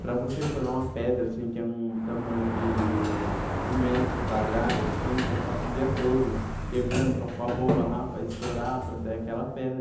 Para você furar uma pedra, assim, que é um tamanho de um metro quadrado, assim, você passa o dia todo quebrando para pôr a bomba lá, para estourar, para sair aquela pedra.